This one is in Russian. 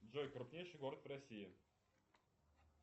джой крупнейший город в россии